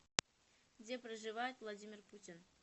где проживает владимир путин